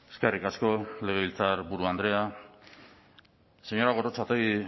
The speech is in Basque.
eskerrik asko legebiltzarburu andrea señora gorrotxategi